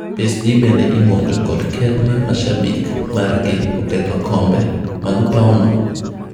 PSG bende imonjo kod keth mar mashabik margi oketho kombe mag pauno.